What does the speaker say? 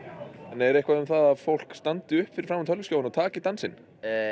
er eitthvað um það að fólk standi upp fyrir framan tölvuskjáinn og taki dansinn